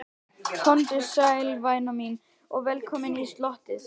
Komdu sæl, væna mín, og velkomin í slotið.